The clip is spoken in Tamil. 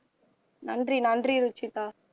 நன்றி நன்றி ருஷிதா